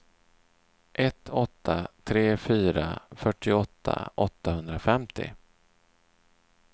ett åtta tre fyra fyrtioåtta åttahundrafemtio